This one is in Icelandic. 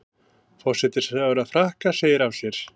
Forsætisráðherra Frakka segir af sér